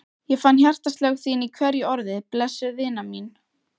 Ég fann hjartaslög þín í hverju orði, blessuð vina mín.